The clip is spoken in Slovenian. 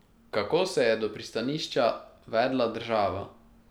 Kako se je do pristanišča vedla država?